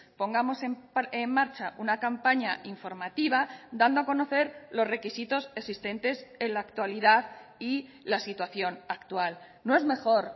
pongamos en marcha una campaña informativa dando a conocer los requisitos existentes en la actualidad y la situación actual no es mejor